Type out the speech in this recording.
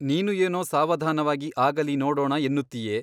ನೀನು ಏನೋ ಸಾವಧಾನವಾಗಿ ಆಗಲಿ ನೋಡೋಣ ಎನ್ನುತ್ತೀಯೆ.